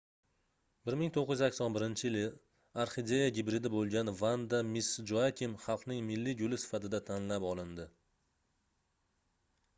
1981-yili orxideya gibridi boʻlgan vanda miss joakim xalqning milliy guli sifatida tanlab olindi